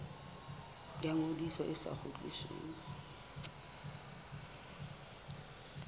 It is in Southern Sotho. ya ngodiso e sa kgutlisweng